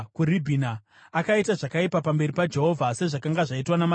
Akaita zvakaipa pamberi paJehovha, sezvakanga zvaitwa namadzibaba ake.